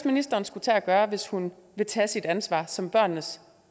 ministeren skulle tage at gøre hvis hun vil tage sit ansvar som børnenes